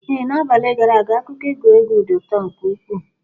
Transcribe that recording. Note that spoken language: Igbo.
Ee, n'abalị gara aga akụkọ egwuregwu dị ụtọ nke ukwuu.